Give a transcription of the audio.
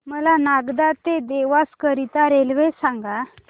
मला नागदा ते देवास करीता रेल्वे सांगा